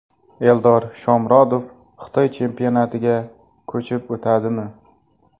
Eldor Shomurodov Xitoy chempionatiga ko‘chib o‘tadimi?